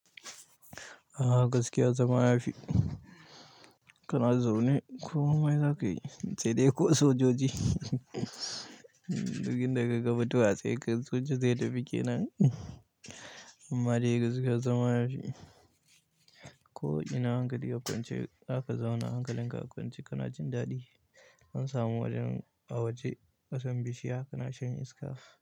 Ah gaskiya zama yafi? Kana zaune ko mai zakayi? Sai dai ko sojoji duk inda kaga mutuwa sai soja zai tafi kenan. Amma dai gaskiyar zama yafi. Ko ina hankali a kwance zaka zauna hankalin ka kwance kana jin daɗi. An samu wajen a waje ƙasambishi haka na shanye iska.